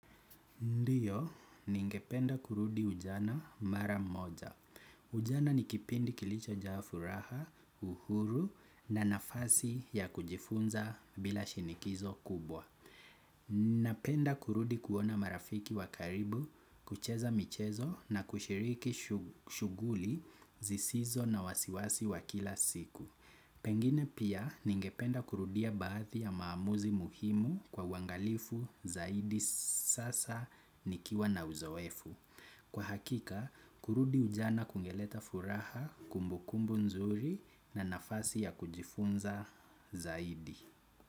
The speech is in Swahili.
Ndiyo, ningependa kurudi ujana mara moja. Ujana ni kipindi kilicho jaa furaha, uhuru na nafasi ya kujifunza bila shinikizo kubwa. Napenda kurudi kuona marafiki wakaribu, kucheza michezo na kushiriki shughuli zisizo na wasiwasi wa kila siku. Pengine pia ningependa kurudia baadhi ya maamuzi muhimu kwa uangalifu zaidi sasa nikiwa na uzoefu. Kwa hakika, kurudi ujana kungeleta furaha kumbu kumbu nzuri na nafasi ya kujifunza zaidi.